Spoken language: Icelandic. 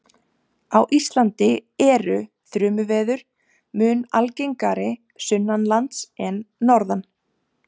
Á Íslandi eru þrumuveður mun algengari sunnanlands en norðan.